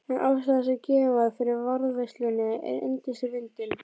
En ástæðan sem gefin var fyrir varðveislunni er yndislega fyndin